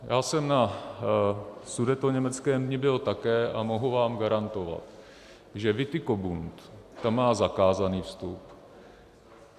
Já jsem na Sudetoněmeckém dni byl také a mohu vám garantovat, že Witikobund tam má zakázaný vstup.